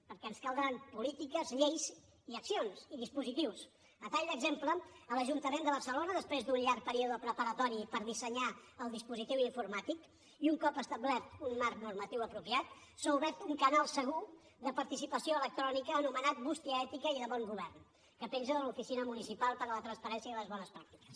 perquè ens caldran polítiques lleis i accions i dispositius a tall d’exemple a l’ajuntament de barcelona després d’un llarg període preparatori per dissenyar el dispositiu informàtic i un cop establert un marc normatiu apropiat s’ha obert un canal segur de participació electrònica anomenat bústia ètica i de bon govern que penja de l’oficina municipal per a la transparència i les bones pràctiques